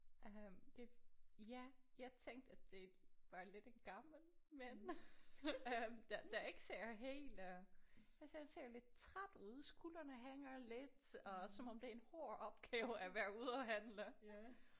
Øh det ja jeg tænkte at det var lidt en gammel mand øh der der ikke ser helt øh han ser ser lidt træt ud skuldrene hænger lidt og som om det er en hård opgave at være ude at handle